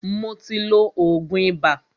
Mó tí ló oògùn ibà.